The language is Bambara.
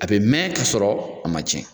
A bɛ mɛn ka sɔrɔ a man cɛn.